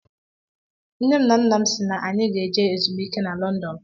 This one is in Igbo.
Nne m na nna m si na anyị ga-eje ezumike na London.